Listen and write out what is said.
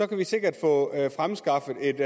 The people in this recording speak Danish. kan vi sikkert få fremskaffet et